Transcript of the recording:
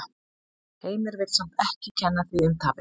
Heimir vill samt ekki kenna því um tapið.